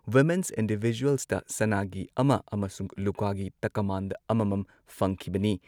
women's ꯏꯟꯗꯤꯚꯤꯖꯨꯑꯜꯁꯇ ꯁꯅꯥꯒꯤ ꯑꯃ ꯑꯃꯁꯨꯡ ꯂꯨꯄꯥꯒꯤ ꯇꯀꯃꯥꯟ ꯑꯃꯃꯝ ꯐꯪꯈꯤꯕꯅꯤ